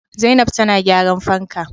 Zainab tana gyran fanka